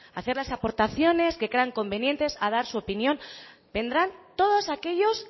a hacer las aportaciones que crean convenientes a dar su opinión vendrán todos aquellos